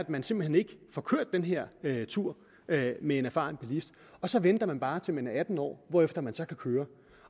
man simpelt hen ikke får kørt den her tur med en erfaren bilist og så venter man bare til man er atten år hvorefter man så kan køre